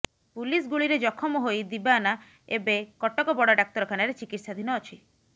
police ଗୁଳିରେ ଜଖମ ହୋଇ ଦିବାନା ଏବେ କଟକ ବଡ଼ ଡାକ୍ତରଖାନାରେ ଚିକିତ୍ସାଧୀନ ଅଛି